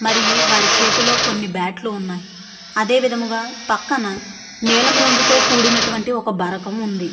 మరియు వారి చేతిలో కొన్ని బాట్ లు ఉన్నాయి అదే విధముగా పక్కన నీలం రంగుతో కూడినటువంటి ఒక బరకము ఉంది.